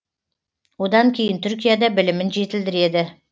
одан кейін түркияда білімін жетілдіреді